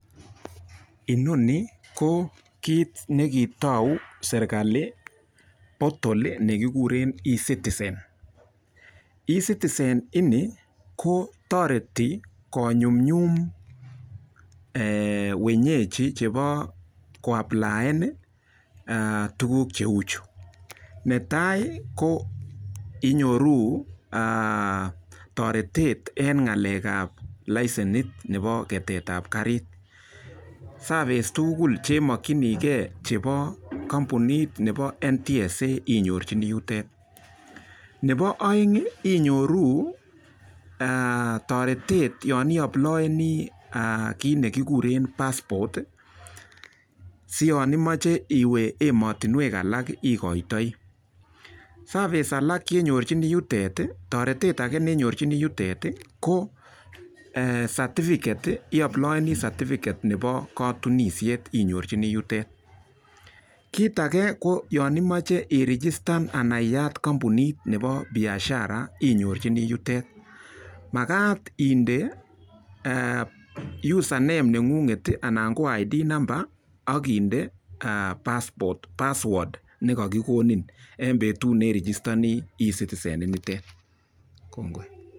Inoni ko kit ne kitou serkali portol nekigure Ecitizen. Ecitizen ini ko toreti konyumnyum wenyeji chebo koapplian eng tukuk cheu chu. Nebo tai ko inyoru toretet eng ng'alekab lesienit nebo ketetab karit. Serverce tugul chemokchinikei chebo kampunitab NTSA inyorchini yutet. Nebo oeng inyoru toretet yon iapliani kit nekogure pass port si yon imache iwe ematinwekalak ikoitoi. Service age nenyorchini yutet, toretet age nenyorchini yutet ko certificate, iaplioni certificate nebo katunishet inyorchini yutet. Kit age ko yon imache iregistan anan iyat kampunit nebo biashara inyorchini yutet. Makat inde user name neng'unget anan ko id number ak inde pass word nekakikonin eng petut ne registani Ecitizen.